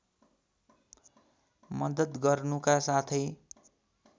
मद्दत गर्नुका साथै